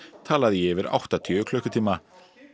talað í yfir áttatíu klukkutíma